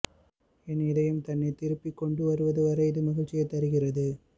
என் இதயம் தன்னைத் திருப்பிக் கொண்டுவருவது வரை இது மகிழ்ச்சியைத் தருகிறது